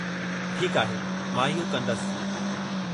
ठीकु आहे, मां इहो कंदसि।